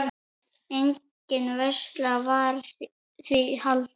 Engin veisla var því haldin.